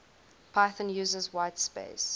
python uses whitespace